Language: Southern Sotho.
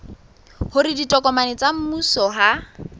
hore ditokomane tsa mmuso ha